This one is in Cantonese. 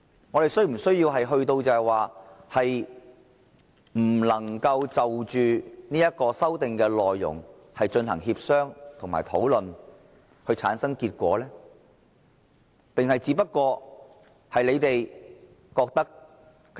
我們是否需要弄到不能就着修訂的內容，進行協商和討論，以產生結果的地步呢？